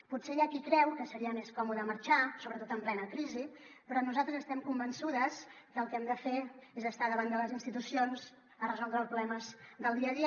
potser hi ha qui creu que seria més còmode marxar sobretot en plena crisi però nosaltres estem convençudes que el que hem de fer és estar davant de les institucions a resoldre els problemes del dia a dia